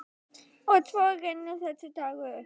Og svo rennur þessi dagur upp.